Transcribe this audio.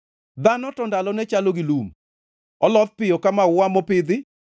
Dhano to ndalone chalo gi lum, oloth piyo ka maua mopidhi;